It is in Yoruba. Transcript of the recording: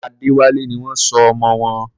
Adéwálé ni wọ́n sọ ọmọ wọn.